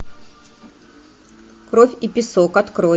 кровь и песок открой